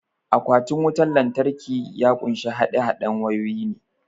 Akwatin wutan lantraki ya kunshi haɗe haɗen wayoyi ne